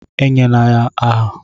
E nyela ya aha!